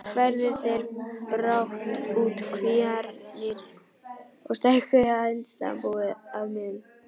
Færðu þeir brátt út kvíarnar og stækkuðu hænsnabúið að mun.